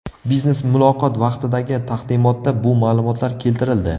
Biznes muloqot vaqtidagi taqdimotda bu ma’lumotlar keltirildi.